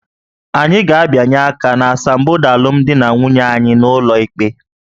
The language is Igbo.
Anyị ga-abịanye aka n'asambodo alụmdi na nwunye anyị n'ụlọ ikpe